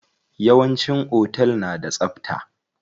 Yawanci otel na da tsabta.